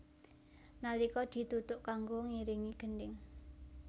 Nalika dituthuk kanggo ngiringi gendhing